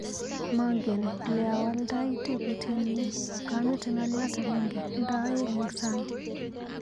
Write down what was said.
Mangen leawaldai teputietni, kemete ng'aliot agenge nda aeng eng sang.